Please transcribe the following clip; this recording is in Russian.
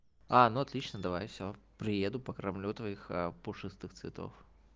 а ну отлично давай всё приеду покормлю твоих пушистых цветов